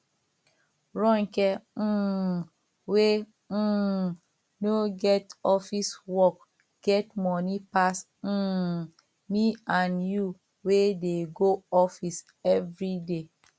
ronke um wey um no get office work get money pass um me and you wey dey go office everyday